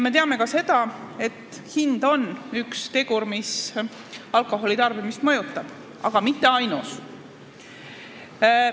Me teame ka seda, et hind on üks tegur, mis alkoholi tarbimist mõjutab, aga mitte ainus.